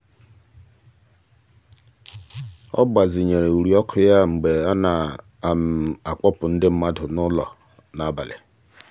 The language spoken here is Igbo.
ọ gbazinyere uri ọkụ ya mgbe a na-akpọpụ ndị mmadụ n'ụlọ n'abalị.